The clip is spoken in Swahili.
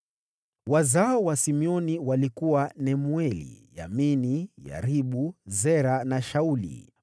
Wazao wa Simeoni walikuwa: Nemueli, Yamini, Yaribu, Zera na Shauli.